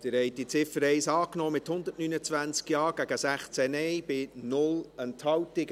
Sie haben die Ziffer 1 angenommen, mit 129 Ja- gegen 16 Nein-Stimmen bei 0 Enthaltungen.